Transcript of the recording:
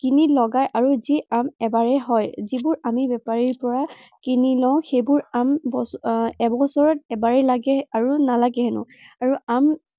কিনি লগায় আৰু যি আম এবাৰেই হয়। যিবোৰ আমি বেপাৰীৰ পৰা কিনি লওঁ, সেইবোৰ আম বছৰত আহ এবছৰত এবাৰেই লাগে আৰু নালাগে হেনো। আৰু আম